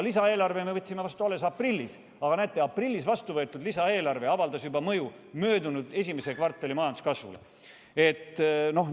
Lisaeelarve me võtsime vastu alles aprillis, aga näete, aprillis vastuvõetud lisaeelarve avaldas mõju juba möödunud esimese kvartali majanduskasvule!